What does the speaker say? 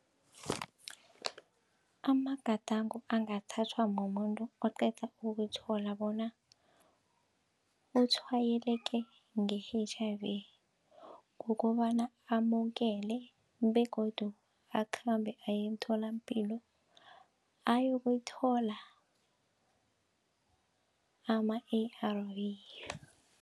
Amagadango angathathwa mumuntu oqeda ukuthola bona utshwayeleke nge-H_I_V kukobana bona amukele begodu akhambe aye emtholampilo ayokuyithola ama-A_R_V.